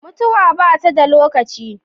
Mutuwa ba ta da lokaci.